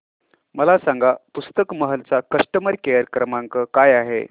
मला सांगा पुस्तक महल चा कस्टमर केअर क्रमांक काय आहे